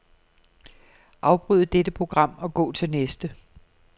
Afbryd dette program og gå til næste.